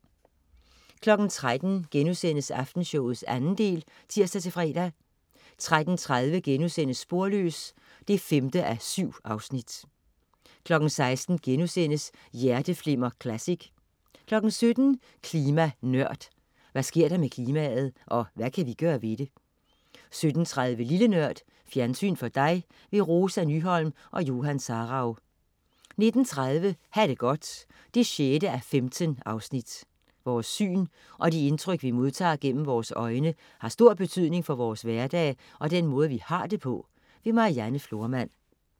13.00 Aftenshowet 2. del* (tirs-fre) 13.30 Sporløs 5:7* 16.00 Hjerteflimmer Classic* 17.00 Klima Nørd. Hvad sker der med klimaet? Og hvad kan vi gøre ved det? 17.30 Lille Nørd. Fjernsyn for dig. Rosa Nyholm og Johan Sarauw 19.30 Ha' det godt 6:15. Vores syn og de indtryk, vi modtager gennem vores øjne, har stor betydning for vores hverdag, og den måde vi har det på. Marianne Florman